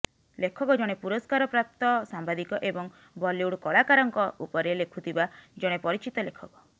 ଲେଖକ ଜଣେ ପୁରସ୍କାର ପ୍ରାପ୍ତ ସାମ୍ବାଦିକ ଏବଂ ବଲିଉଡ୍ କଳାକାରଙ୍କ ଉପରେ ଲେଖୁଥିବା ଜଣେ ପରିଚିତ ଲେଖକ